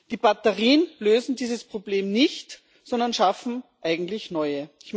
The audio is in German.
Die Batterien lösen dieses Problem nicht, sondern schaffen eigentlich neue.